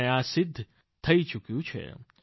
અને આ સિદ્ધ થઈ ચૂક્યું છે